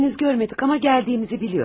Hələ görmədik amma gəldiyimizi bilir.